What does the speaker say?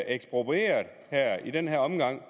eksproprieret i den her omgang